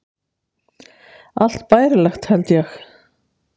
Allt bærilegt, held ég.